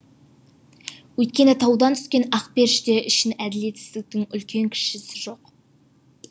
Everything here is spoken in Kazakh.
өйткені таудан түскен ақперіште үшін әділетсіздіктің үлкен кішісі жоқ